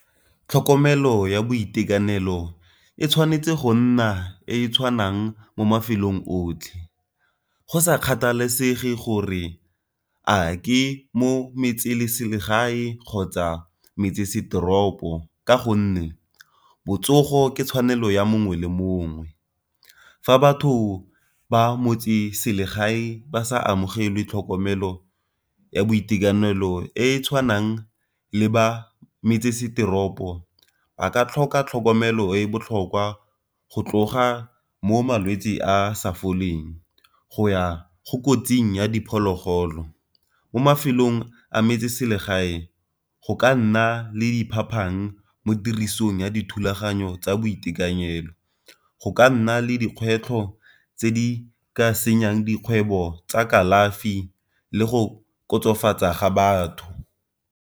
Tlhokomelo ya boitekanelo e tshwanetse go nna e e tshwanang mo mafelong otlhe, go sa kgathalesege gore a ke mo metseselegae kgotsa metsesetoropo ka gonne botsogo ke tshwanelo ya mongwe le mongwe. Fa batho ba motseselegae ba sa amogele tlhokomelo ya boitekanelo e e tshwanang le ba metsesetoropo ba ka tlhoka tlhokomelo e e botlhokwa go tloga mo malwetsi a sa foleng, go ya go kotsing ya diphologolo. Mo mafelong a metseselegae go ka nna le di phapang mo tirisong ya dithulaganyo tsa boitekanelo, go ka nna le dikgwetlho tse di ka senyeng dikgwebo tsa kalafi, le go kgotsofatsa ga batho.